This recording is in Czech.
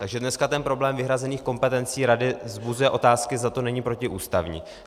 Takže dneska ten problém vyhrazených kompetencí rady vzbuzuje otázky, zda to není protiústavní.